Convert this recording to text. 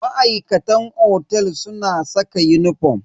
Ma'aikatan otel suna saka uniform.